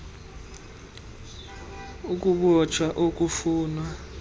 g ukubotshwa okufunwa